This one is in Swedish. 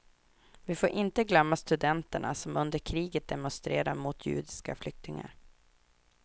Vi får inte glömma studenterna som under kriget demonstrerade mot judiska flyktingar.